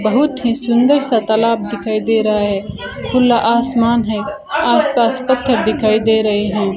बहुत ही सुंदर सा तालाब दिखाई दे रहा है खुला आसमान है आस पास पत्थर दिखाई दे रहे हैं।